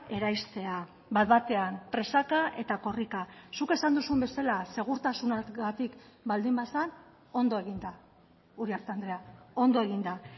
eraistea bat batean presaka eta korrika zuk esan duzun bezala segurtasunagatik baldin bazen ondo eginda uriarte andrea ondo eginda